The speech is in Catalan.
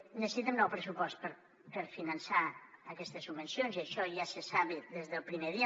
necessitem nou pressupost per a finançar aquestes subvencions i això ja se sap des del primer dia